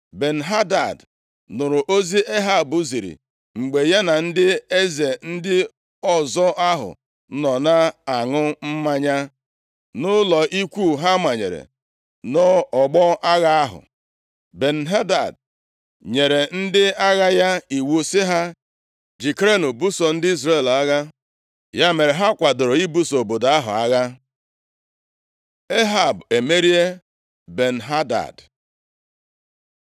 Ben-Hadad nụrụ ozi Ehab ziri mgbe ya na ndị eze ndị ọzọ ahụ nọ na-aṅụ mmanya nʼụlọ ikwu ha manyere nʼọgbọ agha ahụ. Ben-Hadad nyere ndị agha ya iwu sị ha, “Jikerenụ, buso ndị Izrel agha.” Ya mere, ha kwadoro ibuso obodo ahụ agha. Ehab emerie Ben-Hadad